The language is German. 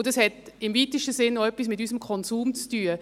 Und das hat im weitesten Sinn auch etwas mit unserem Konsum zu tun.